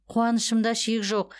қуанышымда шек жоқ